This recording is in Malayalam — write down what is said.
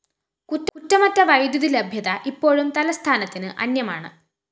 കുറ്റമറ്റ വൈദ്യുതിലഭ്യത ഇപ്പോഴും തലസ്ഥാനത്തിന് അന്യമാണ്